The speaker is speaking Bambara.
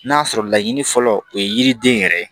N'a sɔrɔ laɲini fɔlɔ o ye yiriden yɛrɛ ye